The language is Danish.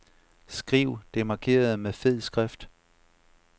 Skriv det markerede med fed skrift.